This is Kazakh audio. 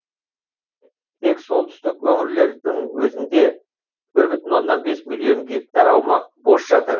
тек солтүстік өңірлердің өзінде бір бүтін оннан бес миллион гектар аумақ бос жатыр